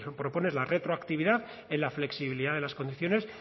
propone es la retroactividad en la flexibilidad de las condiciones